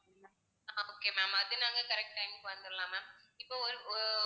okay ma'am அது நாங்க correct time க்கு வந்துடலாம் ma'am இப்போ ஒரு~ஒ